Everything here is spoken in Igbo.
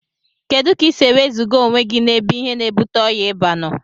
Kedu ka isi ewezuga onwegi na ebe ihe na ebute ọya iba noo?